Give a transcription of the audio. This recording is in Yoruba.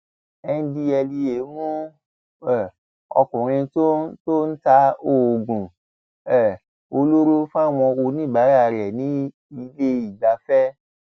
ndtea mú um ọkùnrin tó tó ń ta oògùn um olóró fáwọn oníbàárà rẹ nílé ìgbafẹ